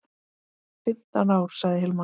Fimmtán ár, sagði Hilmar.